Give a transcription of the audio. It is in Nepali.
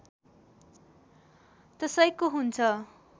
त्यसैको हुन्छ